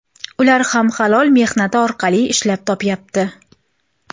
Ular ham halol mehnati orqali ishlab topyapti.